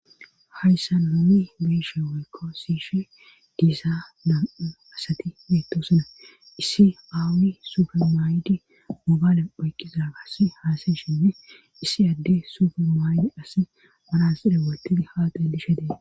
Hayssan numi biishe woykko siishe diisaa nam7u asati beetosuna issi aawi sufe maay7di mugaale oyqqiza gas haasayshinne issi adde sufe maaydi asi manaside wotidi haaqay dishe dee